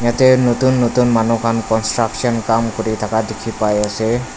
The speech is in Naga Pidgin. yate notun notun manu khan construction kam kuri thaka dikhi pai ase.